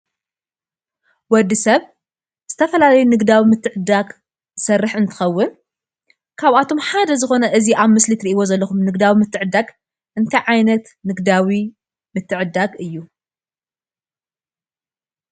ወዲ ሰብ ዝተፈላለዩ ንግዳዊ ምትዕድዳግ ዝሰርሕ እትንከውን ካብኣቶም ሓደ ዝኮነ እዚ ኣብ ምስሊ እትሪእዎ ዘለኩም ንግዳዊ ምትዕድዳግ እንታይ ዓይነት ንግዳዊ ምትዕድዳግ እዩ?